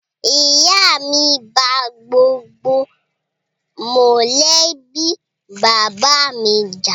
Ìyá mi bá gbogbo mọ́lẹ̀bi bàbá mi jà